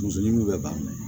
Muso ɲimi bɛ ban